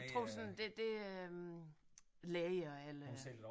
Tror du sådan det det øh er læger eller